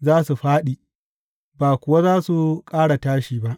za su fāɗi, ba kuwa za su ƙara tashi ba.